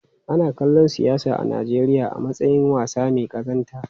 Ana kallon siyasa a Najeriya a matsayin wasa mai kazanta.